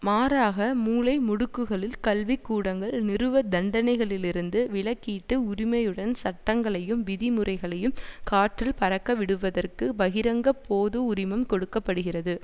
மாறாக மூலை முடுக்குகளில் கல்விக்கூடங்கள் நிறுவ தண்டனைகளிலிருந்து விலக்கீட்டு உரிமையுடன் சட்டங்களையும் விதிமுறைகளையும் காற்றில் பறக்கவிடுவதற்கு பகிரங்க போது உரிமம் கொடுக்க படுகிறது